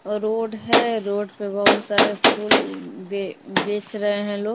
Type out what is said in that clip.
Road है road पर बहुत सारे फूल अ बी बेच रहे हैं लोग।